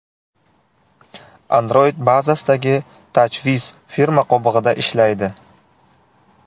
Android bazasidagi TouchWiz firma qobig‘ida ishlaydi.